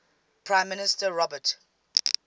prime minister robert